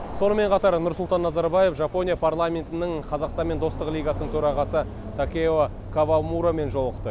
сонымен қатар нұрсұлтан назарбаев жапония парламентінің қазақстанмен достық лигасының төрағасы такео кавамурамен жолықты